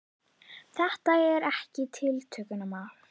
Þetta er ekkert tiltökumál?